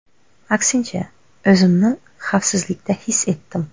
Aksincha, o‘zimni xavfsizlikda his etdim”.